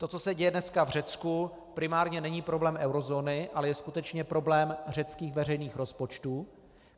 To, co se děje dneska v Řecku, primárně není problém eurozóny, ale je skutečně problém řeckých veřejných rozpočtů.